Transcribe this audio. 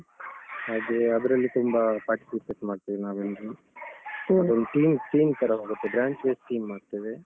ಹಾಗೆ ಅದ್ರಲ್ಲಿ ತುಂಬಾ participate ಮಾಡ್ತೇವೆ ನಾವೆಲ್ರು. ಅದೊಂದ್ team, team ತರ ಹೋಗತ್ತೆ branch wise team ಮಾಡ್ತೇವೆ